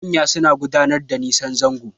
Manya suna gudun nisan zango